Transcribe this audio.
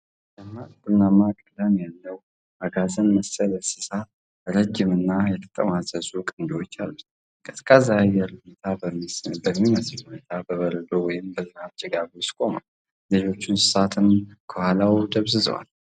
ደማቅ ቡናማ ቀለም ያለው አጋዘን መሰል እንስሳ ረዥምና የተጠማዘዙ ቀንዶች አሉት። ቀዝቃዛ የአየር ሁኔታ በሚመስል ሁኔታ በበረዶ ወይም በዝናብ ጭጋግ ውስጥ ቆሟል፤ ሌሎች እንስሳትም ከኋላው ደብዝዘዋል።